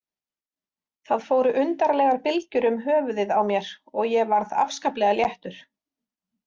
Það fóru undarlegar bylgjur um höfuðið á mér og ég varð afskaplega léttur.